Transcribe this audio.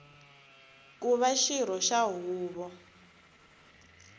ku va xirho xa huvo